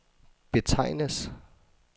betegnes